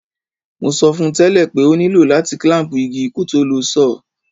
Mo sọ fun tẹ̀lẹ́ pe o nìló láti clamp igi kótó lo saw